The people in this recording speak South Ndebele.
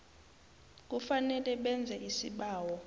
kufanele benze isibawo